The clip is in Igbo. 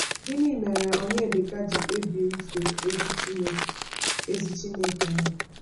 Gịnị mere Onyedika ji kpebie ife ezi Chineke ezi Chineke ahụ?